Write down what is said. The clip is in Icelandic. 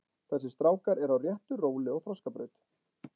Þessir strákar eru á réttu róli og þroskabraut.